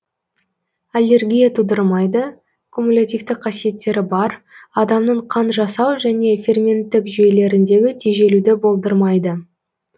аллергия тудырмайды кумулятивтік қасиеттері бар адамның қан жасау және ферменттік жүйелеріндегі тежелуді болдырмайды